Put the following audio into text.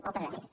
moltes gràcies